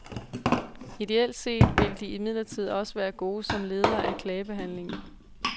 Ideelt set ville de imidlertid også være gode som ledere af klagebehandlingen.